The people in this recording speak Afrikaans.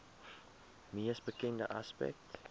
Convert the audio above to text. mees bekende aspek